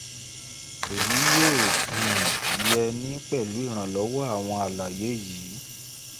èyí yóò um yé 'ni pẹ̀lú ìrànlọ́wọ́ àwọn àlàyé yìí